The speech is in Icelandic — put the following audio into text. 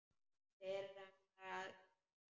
Fyrr en það hættir.